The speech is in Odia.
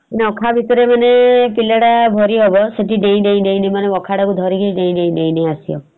ଅଖା ଭିତେରେ ମାନେ ପିଲାଟା ଭରିହବ ସେଠି ଡେଇଁ ଡେଇଁ ଡେଇଁ ମାନେ ଅଖାଟାକୁ ଧରି ଡେଇଁ ଡେଇଁ ଡେଇଁ ଡେଇଁ ଆସିବ ।